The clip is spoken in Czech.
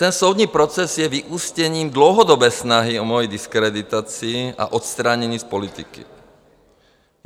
Ten soudní proces je vyústěním dlouhodobé snahy o mojí diskreditaci a odstranění z politiky.